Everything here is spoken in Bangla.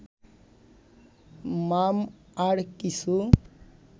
মাম... আর কিছু